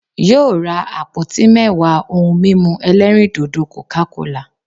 Yóò ra àpótí mẹ́wàá ohun mímu ẹlẹ́rìndòdò'coca cola'